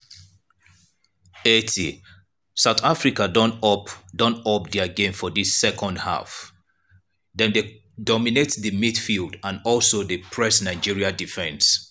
80' south africa don up don up dia game for dis second half dem dey dominate di midfield and also dey press nigeria defence.